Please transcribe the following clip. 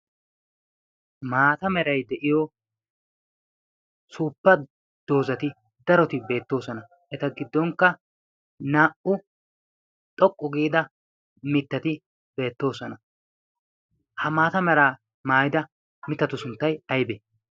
maata merai de7iyo suuppa doozati daroti beettoosona. eta giddonkka naa77u xoqqu giida mittati beettoosona. ha maata meraa maayida mittatu sunttai aibee?